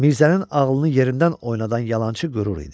Mirzənin ağlını yerindən oynadan yalançı qürur idi.